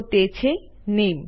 તો તે છે નામે